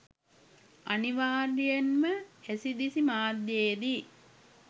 අනිවාර්යයෙන්ම ඇසි දිසි මාධ්‍යයේදී